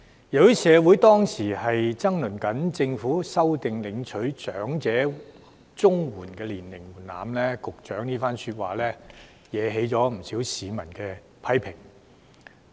由於社會當時爭論政府修訂領取長者綜援的年齡門檻，局長這番說話惹來不少市民的批評。